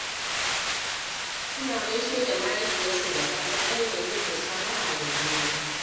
Suna gaishe da mahaifiyarsu da safe ta hanyar yin musabaha da juna